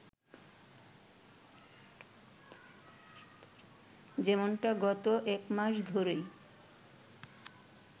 যেমনটা গত একমাস ধরেই